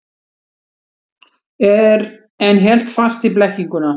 En hélt fast í blekkinguna.